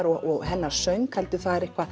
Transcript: og hennar söng heldur er eitthvað